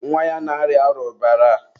nwa ya na-arịa arụbara.